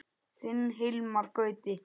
Þinn Hilmar Gauti.